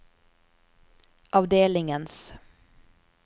avdelingens